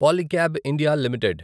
Polycab India limited